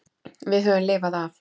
Við höfum lifað af.